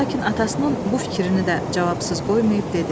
Lakin atasının bu fikrini də cavabsız qoymayıb dedi: